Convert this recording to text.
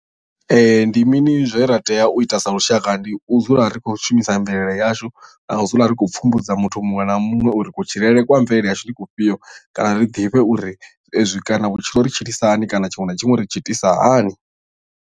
Ndi mini zwe ra tea u ita sa lushaka ndi u dzula ri khou shumisa mvelele yashu na u dzula ri khou pfumbudza muthu muṅwe na muṅwe uri kutshilele kwa mvelele yashu ndi kufhio kana ri ḓivhe uri ezwi kana vhutshilo ri tshilisa hani kana tshiṅwe na tshiṅwe ri tshi itisa hani.